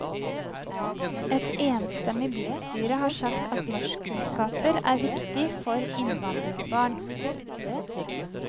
Et enstemmig bystyre har sagt at norskkunnskaper er viktig for innvandrerbarn.